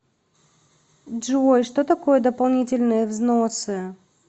джой что такое дополнительные взносы